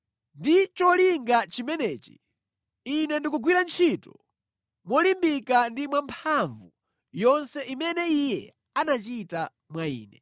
Ndi cholinga chimenechi, ine ndikugwira ntchito molimbika ndi mwamphamvu zonse zimene Iye anachita mwa ine.